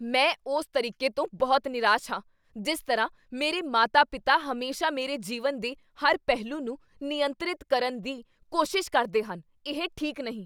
ਮੈਂ ਉਸ ਤਰੀਕੇ ਤੋਂ ਬਹੁਤ ਨਿਰਾਸ਼ ਹਾਂ ਜਿਸ ਤਰ੍ਹਾਂ ਮੇਰੇ ਮਾਤਾ ਪਿਤਾ ਹਮੇਸ਼ਾ ਮੇਰੇ ਜੀਵਨ ਦੇ ਹਰ ਪਹਿਲੂ ਨੂੰ ਨਿਯੰਤਰਿਤ ਕਰਨ ਦੀ ਕੋਸ਼ਿਸ਼ ਕਰਦੇ ਹਨ ਇਹ ਠੀਕ ਨਹੀ